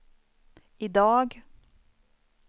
idag